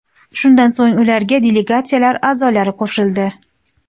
Shundan so‘ng ularga delegatsiyalar a’zolari qo‘shildi.